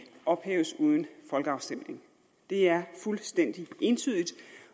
ophæves uden folkeafstemning det er fuldstændig entydigt